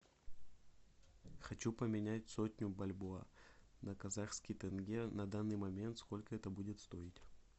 хочу поменять сотню бальбоа на казахский тенге на данный момент сколько это будет стоить